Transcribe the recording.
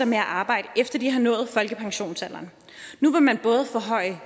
med at arbejde efter at de har nået folkepensionsalderen nu vil man både forhøje